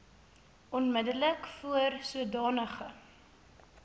onmiddellik voor sodanige